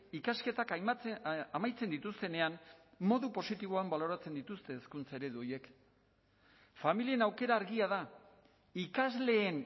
ikasketak amaitzen dituztenean modu positiboan baloratzen dituzte hezkuntza eredu horiek familien aukera argia da ikasleen